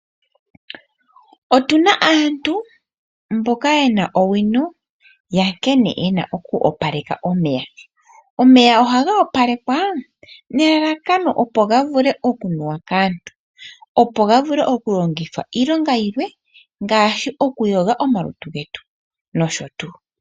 Otu na aantu mboka ye na owino ya nkene ye na oku opaleka omeya. Omeya ohaga opalekwa nelalakano opo ga vule okunuwa kaantu opo ga vule okulongithwa iilonga yilwe ngaashi okuyoga omalutu getu nosho tuu.